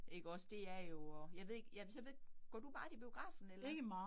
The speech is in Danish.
Ikke også det er jo at jeg ved ikke, ja, så ved, går du meget i biografen eller